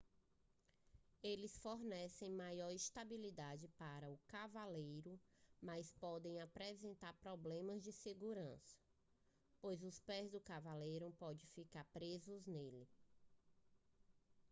eles fornecem maior estabilidade para o cavaleiro mas podem apresentar problemas de segurança pois os pés do cavaleiro podem ficar presos neles